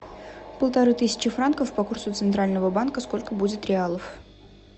полторы тысячи франков по курсу центрального банка сколько будет реалов